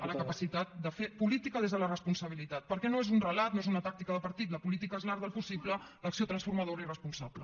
a la capacitat de fer política des de la responsabilitat perquè no és un relat no és una tàctica de partit la política és l’art del possible l’acció transformadora i responsable